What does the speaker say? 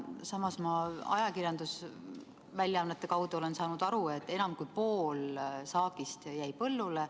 Samas olen ma ajakirjandusväljaannete kaudu saanud aru, et enam kui pool saagist jäi põllule.